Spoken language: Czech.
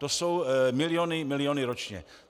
To jsou miliony, miliony ročně.